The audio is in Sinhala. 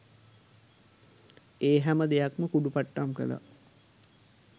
ඒ හැම දෙයක් ම කුඩු පට්ටම් කළා.